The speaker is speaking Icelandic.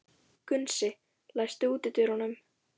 Gunnsi, læstu útidyrunum.